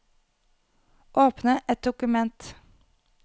Åpne et dokument